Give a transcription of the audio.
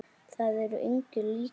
Það er engu líkara.